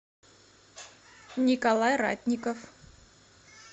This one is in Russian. николай ратников